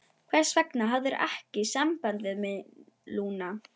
Hvers vegna hafðirðu ekki samband við mig, Lúna?